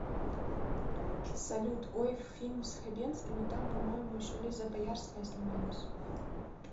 салют ой фильм с хабенским и там по моему еще лиза боярская снималась